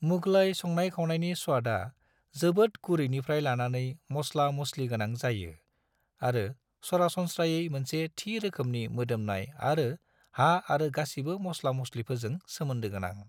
मुगलई संनाय-खावनायनि स्वादा जोबोद गुरैनिफ्राय लानानै मस्ला-मस्लिगोनां जायो, आरो सरासनस्रायै मोनसे थि रोखोमनि मोदोमनाय आरो हा आरो गासिबो मस्ला-मस्लिफोरजों सोमोन्दोगोनां।